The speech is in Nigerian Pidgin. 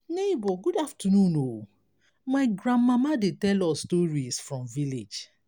nebor good afternoon o my grandmama dey tell us stories for village.